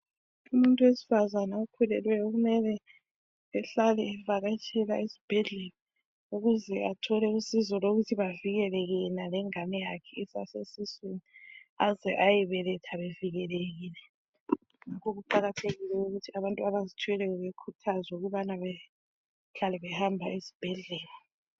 Umuntu wesifazana okhulelweyo kumele ahlale evakatshela esibhedlela ukuze athole usizo lokuthi bavikeleke yena lengane yakhe isase siswini aze ayebeletha bevikelekile ngakho kuqakathekile ukuthi abantu abazithweleyo behlale behamba esibhedlela